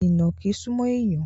Ìnàkí súmọ́ èèyàn